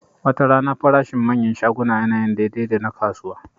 Watarana farashin manyan shaguna yana yin daidai da na kasuwa